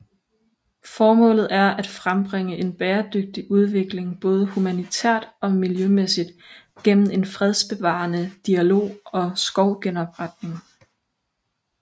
Formålet er at frembringe en bæredygtig udvikling både humanitært og miljømæssigt gennem en fredsbevarende dialog og skovgenopretning